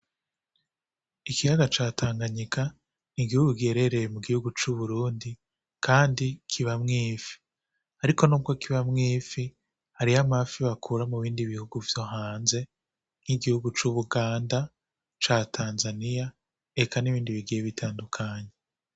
Ikiyaga ca Tanganyika ni igihugu giherereye mu gihugu c'Uburundi kandi kibamwo ifi, ariko nubwo kibanwo ifi hariyo amafi bakura mu bindi bihugu vyo hanze nk'igihugu c'Ubuganda, ca Tanzania eka nibindi bigiye bitandukanye.